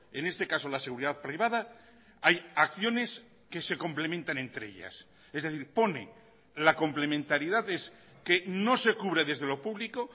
en este caso la seguridad privada hay acciones que se complementan entre ellas es decir pone la complementariedad es que no se cubre desde lo público